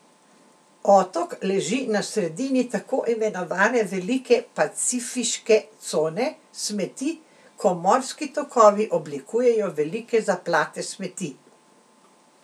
Otok leži na sredini tako imenovane velike pacifiške cone smeti, ko morski tokovi oblikujejo velike zaplate smeti.